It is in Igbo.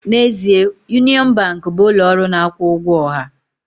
N'ezie, Union Bank bụ ụlọ ọrụ na-akwụ ụgwọ ọha